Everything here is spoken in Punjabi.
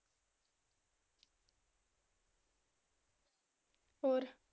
ਹੋਰ?